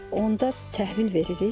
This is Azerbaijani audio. Onda təhvil veririk.